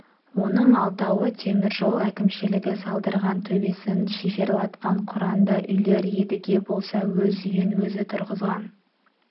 оның алтауы темір жол әкімшілігі салдырған төбесін шиферлатқан құранды үйлер едіге болса өз үйін өзі тұрғызған